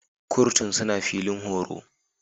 Kurtun suna filin horo.